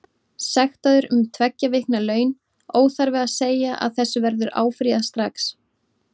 Sektaður um tveggja vikna laun, óþarfi að segja að þessu verður áfrýjað strax.